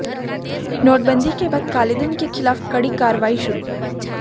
नोटबंदी के बाद कालेधन के खिलाफ कड़ी कार्रवाई शुरू